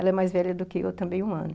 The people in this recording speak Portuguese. Ela é mais velha do que eu, também, um ano.